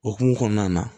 Okumu kɔnɔna na